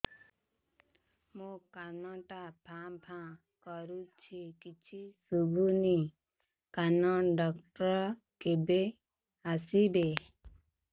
ମୋ କାନ ଟା ଭାଁ ଭାଁ କରୁଛି କିଛି ଶୁଭୁନି କାନ ଡକ୍ଟର କେବେ ଆସିବେ